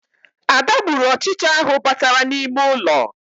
Ada gburu ọchịcha ahụ batara n'ime ụlọ